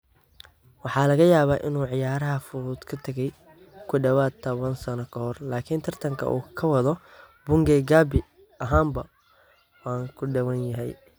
Waxa laga yaabaa in uu ciyaaraha fudud ka tagay ku dhawaad ​​toban sano ka hor laakiin tartanka uu ka wado Bungei gabi ahaanba waa ka duwan yahay.